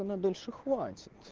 она дальше хватит